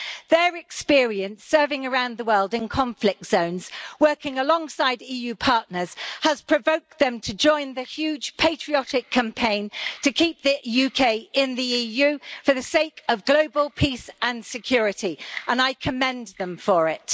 Their experience serving around the world in conflict zones, working alongside EU partners, has provoked them to join the huge patriotic campaign to keep the UK in the EU for the sake of global peace and security, and I commend them for it.